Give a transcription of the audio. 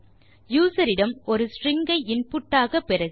user இடம் ஒரு string ஐ இன்புட் ஆக பெறுக